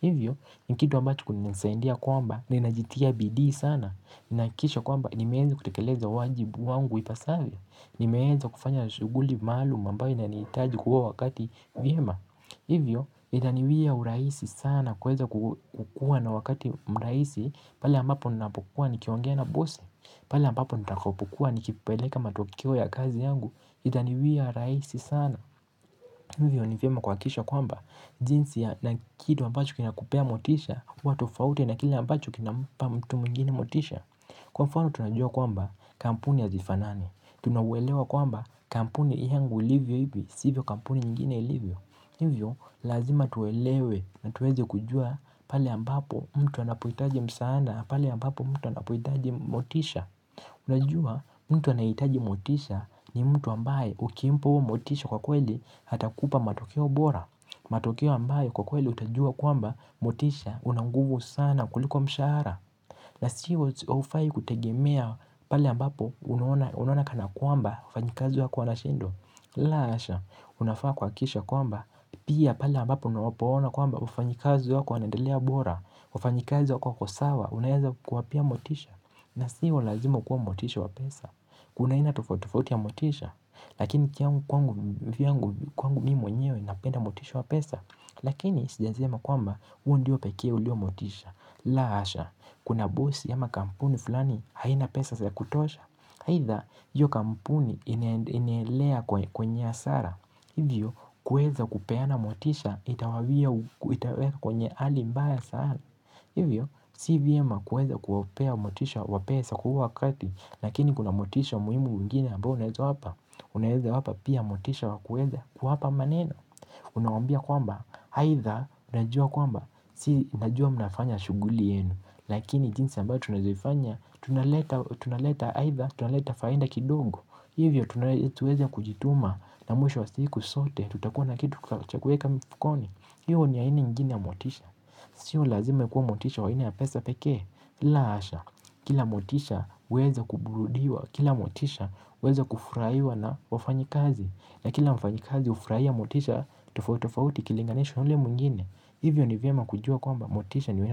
hivyo ni kitu ambacho unanisaidia kwamba ninajitia bidi sana ninahakisha kwamba nimeweza kutekeleza wajibu wangu ipasavyo Ni meweza kufanya shuguli maalum ambayo inanihitaji kwa huo wakati vyema. Hivyo, inaniwia uraisi sana kuweza kukuwa na wakati mraisi. Pale ambapo ninapokuwa nikiongea na bosi. Pala ambapo nitakapokuwa nikipeleka matokeo ya kazi yangu. Inaniwia uraisi sana. Hivyo, nivyema kuhakisha kwamba jinsi na kitu ambacho kina kupea motisha kuwa tofauti na kile ambacho kinampa mtu mwingine motisha. Kwa mfano tunajua kwamba kampuni hasifanani tunauelewa kwamba kampuni yangu ilivyo hivi sivyo kampuni nyingine ilivyo hivyo lazima tuelewe na tuweze kujua pale ambapo mtu anapoitaji msaada na pale ambapo mtu anapohitaji motisha. Unajua mtu anahitaji motisha ni mtu ambaye ukimpa huo motisha kwa kweli hatakupa matokeo bora. Matokeo ambayo kwa kweli utajua kwamba motisha una nguvu sana kuliko mshahara na sio haufai kutegemea pale ambapo unaona kana kwamba wafanyikazi wako wanashindwa. La asha, unafaa kuhakikisha kwamba, pia pale ambapo unapowaona kwamba wafanyikazi wako wanaendelea bora, wafanyikazi wako sawa, unaweza kuwapea motisha na sio lazima ukue motisha wa pesa, kuna haina tufauti tofauti ya motisha, lakini kwangu mimi mwenyewe napenda motisha wa pesa lakini sijasema kwamba, huu ndiyo pekee ulio motisha. La asha, kuna bosi ama kampuni fulani haina pesa za kutosha. Haidha, hiyo kampuni inaendelea kwenye hasara. Hivyo, kuweza kupeana motisha itawaweka kwenye hali mbaya sana. Hivyo, sivyema kuweza kuwapea motisha wa pesa kwa huo wakati lakini kuna motisha muhimu ingine ambayo unaweza wapa. Unaweza wapa pia motisha wa kuweza kuwapa maneno. Unawaambia kwamba, haidha, najua kwamba si najua mnafanya shuguli yenu lakini jinsi ambayo tunazoifanya. Tunaleta haidha tunaleta faida kidogo. Hivyo tuweza kujituma na mwisho wa siku zote. Tutakuwa na kitu chakuweka mfukoni. Hiyo ni ya haini ingine ya motisha. Sio lazima ikuwe motisha wa haina ya pesa pekee. La asha. Kila motisha uweza kuburudiwa. Kila motisha uweza kufurahiwa na wafanyikazi na kila mfanyikazi ufurahia motisha. Tofauti ikilinganishwa na hule mwingine. Hivyo ni vyema kujua kwamba motisha niwe.